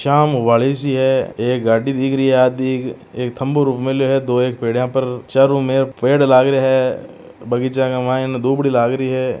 शाम हुआली सी है एक गाड़ी दिख रही है आधिक एक थम्बो रूप मेल्यो है दोयेक पेडिया पर चारों मेर पेड़ लाग रहिया है बगीचा के मायने धोबड़ी लाग रही है।